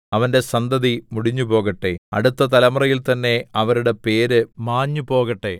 അവന്റെ സന്തതി മുടിഞ്ഞുപോകട്ടെ അടുത്ത തലമുറയിൽ തന്നേ അവരുടെ പേര് മാഞ്ഞു പോകട്ടെ